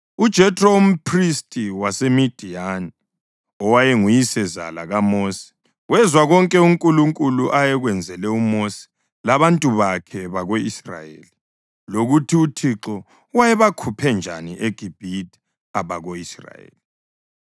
UJethro, umphristi waseMidiyani owayenguyisezala kaMosi, wezwa konke uNkulunkulu ayekwenzele uMosi labantu bakhe bako-Israyeli, lokuthi uThixo wayebakhuphe njani eGibhithe abako-Israyeli.